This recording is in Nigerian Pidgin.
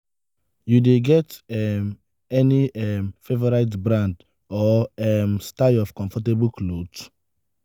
you dey get um any um favorite brand or um style of comfortable clothes?